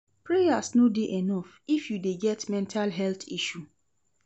Prayers no dey enough if you dey get mental health issue.